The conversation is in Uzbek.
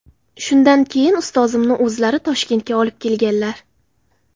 Shundan keyin ustozimni o‘zlari Toshkentga olib kelganlar.